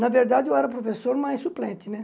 Na verdade, eu era professor, mas suplente, né?